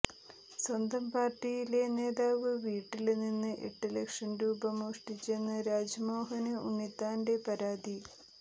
സ്വന്തം പാര്ട്ടിയിലെ നേതാവ് വീട്ടില് നിന്ന് എട്ട് ലക്ഷം രൂപ മോഷ്ടിച്ചെന്ന് രാജ്മോഹന് ഉണ്ണിത്താന്റെ പരാതി